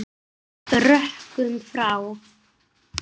Sagt með rökum frá.